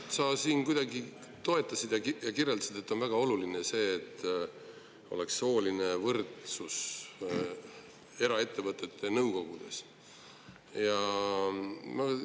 Sa siin toetasid ja kirjeldasid seda, et on väga oluline, et eraettevõtete nõukogudes oleks sooline võrdsus.